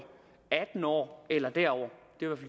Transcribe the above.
atten år eller derover